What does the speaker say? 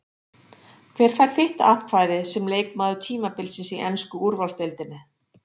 Hver fær þitt atkvæði sem leikmaður tímabilsins í ensku úrvalsdeildinni?